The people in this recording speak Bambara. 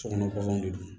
Sokɔnɔ baganw de don